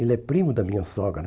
Ele é primo da minha sogra.